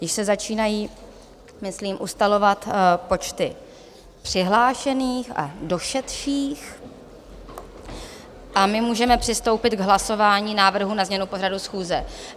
Již se začínají myslím ustalovat počty přihlášených a došedších a my můžeme přistoupit k hlasování návrhu na změnu pořadu schůze.